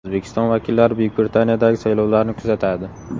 O‘zbekiston vakillari Buyuk Britaniyadagi saylovlarni kuzatadi.